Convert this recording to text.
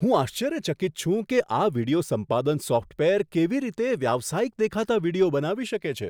હું આશ્ચર્યચકિત છું કે આ વિડિયો સંપાદન સોફ્ટવેર કેવી રીતે વ્યાવસાયિક દેખાતા વીડિયો બનાવી શકે છે.